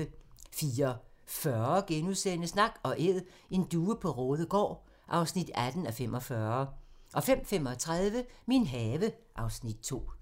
04:40: Nak & Æd - en due på Raadegaard (18:45)* 05:35: Min have (Afs. 2)